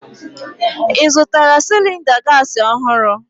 Ị zụtara cylinder gas ọhụrụ?